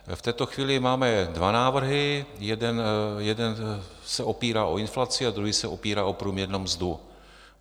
V této chvíli máme dva návrhy, jeden se opírá o inflaci a druhý se opírá o průměrnou mzdu.